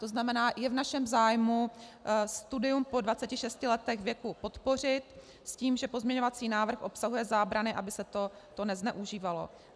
To znamená, je v našem zájmu studium po 26 letech věku podpořit s tím, že pozměňovací návrh obsahuje zábrany, aby se to nezneužívalo.